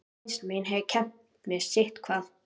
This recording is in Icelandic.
Reynsla mín hafði kennt mér sitthvað.